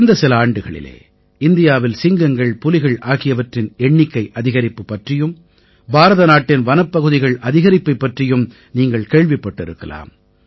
கடந்த சில ஆண்டுகளிலே இந்தியாவில் சிங்கங்கள் புலிகள் ஆகியவற்றின் எண்ணிக்கை அதிகரிப்பு பற்றியும் பாரதநாட்டின் வனப்பகுதிகள் அதிகரிப்பைப் பற்றியும் நீங்கள் கேள்விப்பட்டிருக்கலாம்